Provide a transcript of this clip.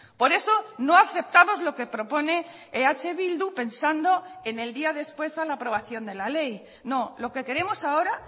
por eso no aceptamos lo que propone eh bildu pensando en el día después a la aprobación de la ley no lo que queremos ahora